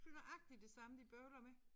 Det nøjagtig det samme de bøvler med